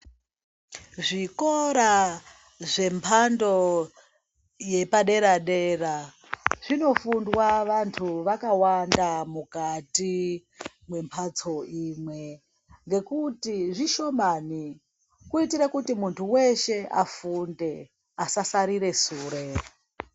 Zvikora zvemhando yepadera-dera zvinofundwa vantu vakawanda mukati memhatso imwe. Ngekuti zvishomani kuitire kuti muntu veshe afunde asasarire sure.